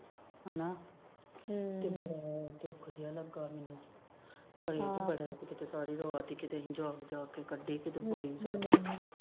ਹਨਾ ਤੇ ਬੜਾ ਦੁਖ ਜਿਹਾ ਲੱਗਾ ਮੈਨੂੁੰ ਜਾਗ ਜਾਗ ਕੇ ਕੱਢੀ